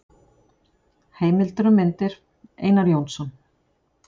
Heimildir og mynd: Einar Jónsson.